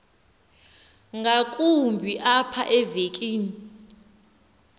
ngakumbi apha evekini